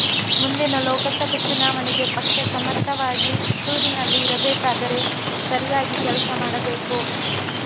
ಮುಂದಿನ ಲೋಕಸಭೆ ಚುನಾವಣೆಗೆ ಪಕ್ಷ ಸಮರ್ಥವಾಗಿ ಪುತ್ತೂರಿನಲ್ಲಿ ಇರಬೇಕಾದರೆ ಸರಿಯಾಗಿ ಕೆಲಸ ಮಾಡಬೇಕು